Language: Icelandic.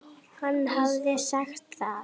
Hann hafði sagt það.